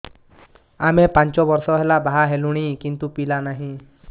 ଆମେ ପାଞ୍ଚ ବର୍ଷ ହେଲା ବାହା ହେଲୁଣି କିନ୍ତୁ ପିଲା ନାହିଁ